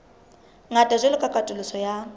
ngata jwalo ka katoloso ya